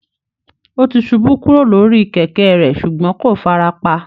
Ó ti ṣubú kúrò lórí kẹ̀kẹ́ rẹ̀ ṣùgbọ́n kò fara pa